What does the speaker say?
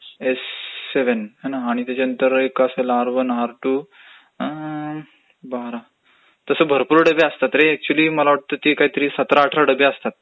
S seven आणि त्याच्यानंतर मग असेल आर वन आर टू आ...अम्म्म..बारा तसं भरपूर डबे असतात रे ऍक्च्युली मला वाटते ते काही तरी सतरा अठरा डबे असतात